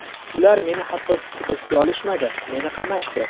Ular meni hattoki hibsga olishmadi, meni qamashdi.